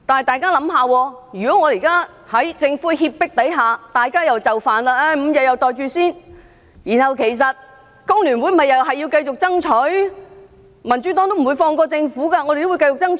大家想一想，如果現在我們在政府脅迫下又就範 ，5 天都"袋住先"，然後，其實工聯會還是要繼續爭取，民主黨也不會放過政府，都會繼續爭取。